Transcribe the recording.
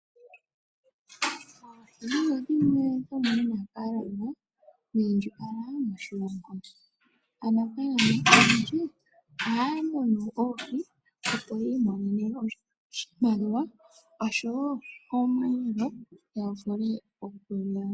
Oohi odho dhimwe dhomunafaalama wiindjipala moshilongo. Aanafalama oyendji ohaya munu oohi, opo yiimonene oshimaliwa oshowo osheelelwa ya vule okulya.